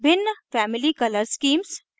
भिन्न family color schemes